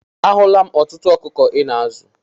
A hụla m ọtụtụ ọkụkọ Ị na-azụ.